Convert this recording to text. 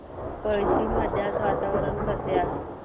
पळशी मध्ये आज वातावरण कसे आहे